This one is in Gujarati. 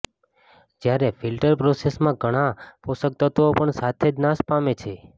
જ્યારે ફિલ્ટર પ્રોસેસમાં ઘણાં પોષકત્વો પણ સાથે જ નાશ પામે છે